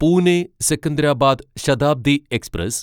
Pune Secunderabad Shatabdi express